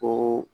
Ko